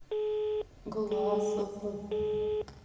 глазову